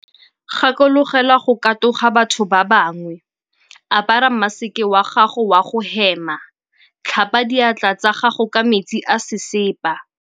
Gakologelwa go katoga batho ba bangwe. Apara maseke wa gago wa go hema. Tlhapa diatla tsa gago ka metsi a sesepa.